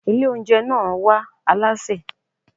Ilé oúnjẹ náà wá alásè.